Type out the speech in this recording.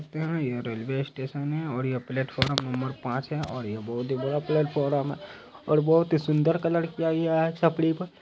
देख सकते है ये रेलवे स्टेशन है और यह प्लेटफॉर्म नंबर पांच है और यह बहुत ही बड़ा प्लेटफार्म है और बहुत ही सुन्दर कलर किया गया है छपरी पर।